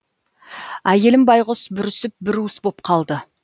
әйелім байғұс бүрісіп бір уыс боп қалды